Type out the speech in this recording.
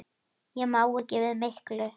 Ég má ekki við miklu.